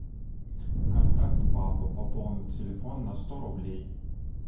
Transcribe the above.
контакт папа пополнить телефон на сто рублей